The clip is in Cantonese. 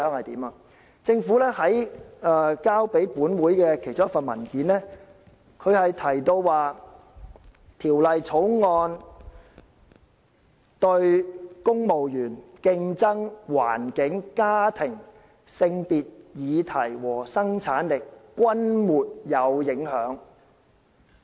在政府提交給本會的其中一份文件中，提到《條例草案》對公務員、競爭、環境、家庭、性別議題和生產力均沒有影響。